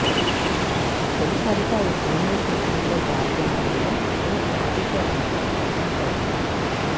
తొలిసారిగా ఈ సినిమా షూటింగ్లో పాల్గొంటుండడంతో రాధిక కొంత టెన్షన్ పడింది